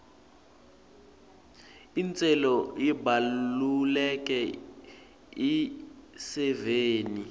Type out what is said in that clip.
intselo ibalulekile esiveni